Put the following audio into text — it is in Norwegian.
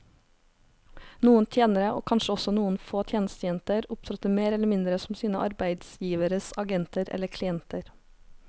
Noen tjenere, og kanskje også noen få tjenestejenter, opptrådte mer eller mindre som sine arbeidsgiveres agenter eller klienter.